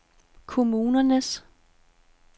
kommunernes